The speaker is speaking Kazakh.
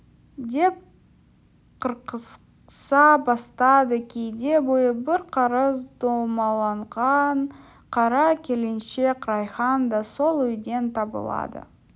деп қырқыса бастады кейде бойы бір қарыс домаланған қара келіншек райхан да сол үйден табылады